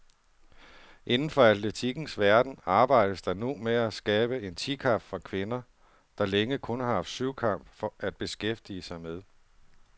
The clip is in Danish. Inden for atletikkens verden arbejdes der nu med at skabe en ti kamp for kvinder, der længe kun har haft syvkamp at beskæftige med.